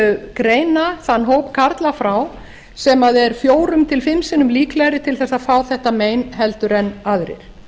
greina þann hóp karla frá sem er fjórum til fimm sinnum líklegri til þess að fá þetta mein en aðrir